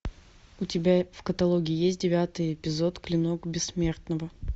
у тебя в каталоге есть девятый эпизод клинок бессмертного